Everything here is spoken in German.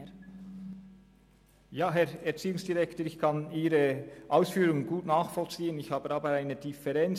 Ich kann die Ausführungen des Herrn Erziehungsdirektors gut nachvollziehen, habe aber eine Differenz.